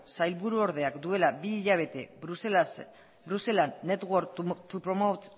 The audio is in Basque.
sailburuordeak duela bi hilabete brusela network to promote